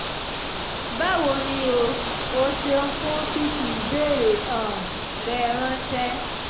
báwo ni o? o ṣeun fún fífi ìbéèrè um rẹ ránṣẹ́